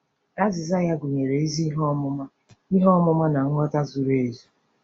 Azịza ya gụnyere “ezi ihe ọmụma ihe ọmụma na nghọta zuru ezu.”